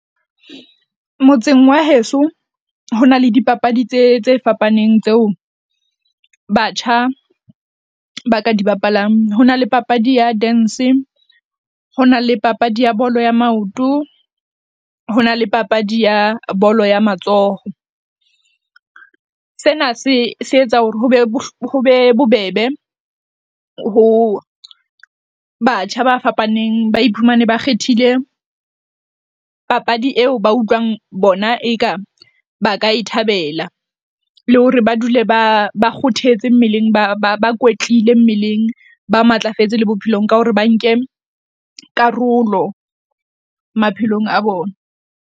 Motseng wa heso ho na le dipapadi tse tse fapaneng tseo batjha ba ka di bapalang. Ho na le papadi ya dance. Ho na le papadi ya bolo ya maoto. Ho na le papadi ya bolo ya matsoho. Sena se se etsa hore hobe hobe bobebe ho batjha ba fapaneng ba iphumane ba kgethile papadi eo ba utlwang bona, eka ba ka e thabela le hore ba dule ba ba kgothetse mmeleng, ba bakwetlile mmeleng, ba matlafetse le bophelong ka hore ba nke karolo maphelong a bona.